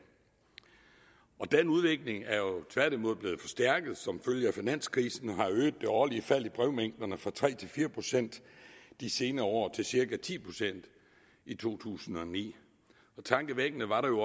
og den udvikling er jo tværtimod blevet forstærket som følge af finanskrisen og har øget det årlige fald i brevmængderne fra tre fire procent de senere år til cirka ti procent i to tusind og ni tankevækkende var det